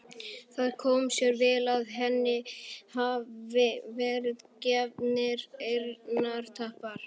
Það komi sér vel að henni hafi verið gefnir eyrnatappar.